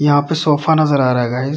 यहां पर सोफा नजर आ रहा है गाइज ।